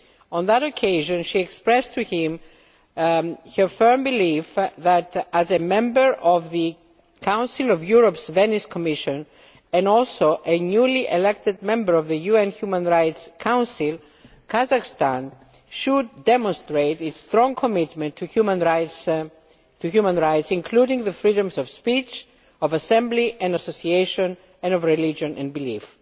On that occasion she expressed to him her firm belief that, as a member of the Council of Europe's Venice Commission and also a newly elected member of the UN Human Rights Council, Kazakhstan should demonstrate its strong commitment to human rights, including the freedoms of speech, of assembly and association and of religion and belief.